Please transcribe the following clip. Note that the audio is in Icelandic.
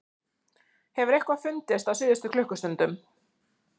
Hefur eitthvað fundist á síðustu klukkustundum?